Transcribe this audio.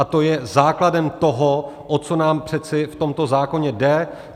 A to je základem toho, o co nám přece v tomto zákoně jde.